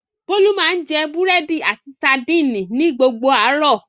Bólú máa ń jẹ búrẹ́dì àti sadínì ni gbogbo àárọ̀.